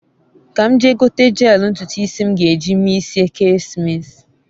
ka m jee gote jeelu ntutu isi m ge eji mee isi ekesimeesi